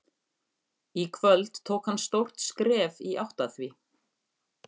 Í kvöld tók hann stórt skref í átt að því.